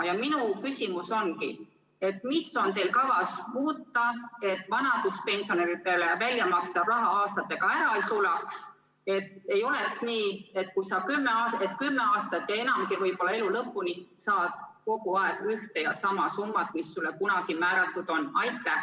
Ja minu küsimus ongi: mida on teil kavas muuta, et vanaduspensionäridele välja makstav raha aastatega ära ei sulaks, et ei oleks nii, et sa saad kümme aastat ja enamgi, võib-olla elu lõpuni, kogu aeg ühte ja sama summat, mis sulle kunagi määratud on?